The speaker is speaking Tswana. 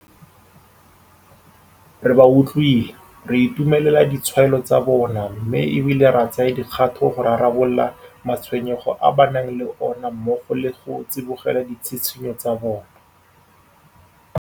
Re ba utlwile, re itumelela ditshwaelo tsa bona mme e bile re tsaya dikgato go rarabolola ma tshwenyego a ba nang le ona mmogo le go tsibogela ditshitshinyo tsa bona.